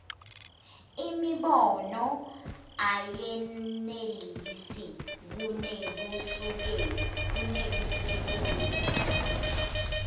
imibono ayenelisi kunekusekela